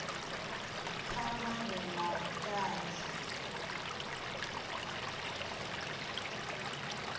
kha vha vhe na vhuṱanzi